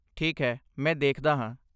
ਠੀਕ ਹੈ, ਮੈਂ ਦੇਖਦਾ ਹਾਂ।